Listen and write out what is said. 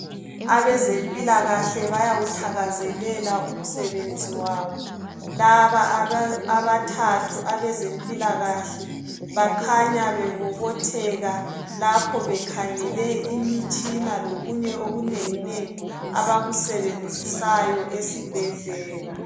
Abezempilakahle bayawuthakazelela umsebenzi wabo laba abathathu abezempilakahle bakhanya bebobotheka lapho bekhangele imitshina lokunye okunenginengi abakusenzisayo esibhedlela